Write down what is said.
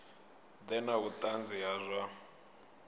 ḓe na vhuṱanzi ha zwa